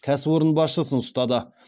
кәсіпорын басшысын ұстады